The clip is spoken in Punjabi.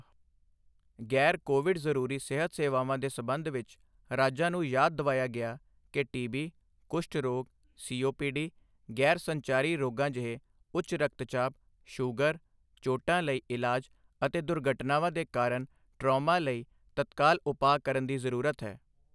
ਗ਼ੈਰ ਕੋਵਿਡ ਜ਼ਰੂਰੀ ਸਿਹਤ ਸੇਵਾਵਾਂ ਦੇ ਸਬੰਧ ਵਿੱਚ, ਰਾਜਾਂ ਨੂੰ ਯਾਦ ਦਿਵਾਇਆ ਗਿਆ ਕਿ ਟੀਬੀ, ਕੁਸ਼ਠ ਰੋਗ, ਸੀ ਓ ਪੀ ਡੀ, ਗ਼ੈਰ ਸੰਚਾਰੀ ਰੋਗਾਂ ਜਿਹੇ ਉੱਚ ਰਕਤਚਾਪ, ਸ਼ੂਗਰ, ਚੋਟਾਂ ਲਈ ਇਲਾਜ ਅਤੇ ਦੁਰਘਟਨਾਵਾਂ ਦੇ ਕਾਰਨ ਟਰਾਮਾ ਲਈ ਤਤਕਾਲ ਉਪਾਅ ਕਰਨ ਦੀ ਜ਼ਰੂਰਤ ਹੈ।